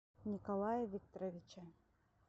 николае викторовиче